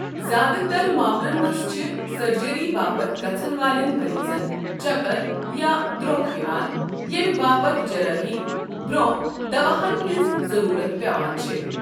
زِیٛادٕ تَر ماملن منٛز چھِٗ سرجری باپتھ گژھَن والٮ۪ن مریضَن چَکَر یا درٛۄکھ یوان ییٚمہ باپت جرٲحی برۄنٛہہ دواہن ہنز ضروٗرت پٮ۪وان چھ۔